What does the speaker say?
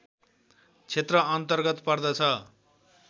क्षेत्र अन्तर्गत पर्दछ